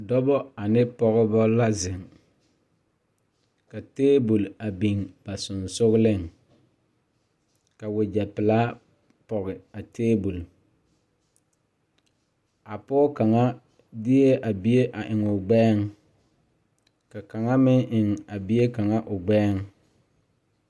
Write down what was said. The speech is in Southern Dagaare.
Dɔbɔ ane pɔgebɔ la zeŋ ka tabol a biŋ ba seŋsugliŋ ka wogyɛ pelaa pɔge a tabol a pɔɔ kaŋa deɛɛ a bie a eŋ o gbɛɛŋ ka kaŋa meŋ eŋ a bie kaŋa o gbɛɛŋ.